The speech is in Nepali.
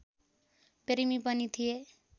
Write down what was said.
प्रेमी पनि थिए